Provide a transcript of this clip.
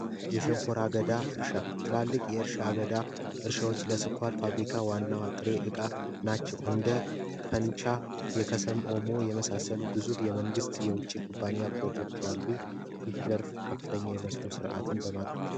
የሸንኮራ አገዳ እርሻ ትላልቅ የእርሻ አገዳዎች ለስኳር ፋብሪካ ዋና ጥሪ ዕቃ ናቸው እንደ ፈንታ የከሰል ኦሞ የመሳሰሉ ግዙፍ የመንግስት የውጭ ኩባንያ ፕሮጀክቶች በዚህ ዘርፍ ከፍተኛ የመስኖ ስርዓት ያጠናክራሉ።